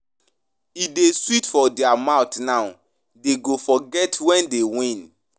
E dey sweet for their mouth now, dey go forget wen dey win.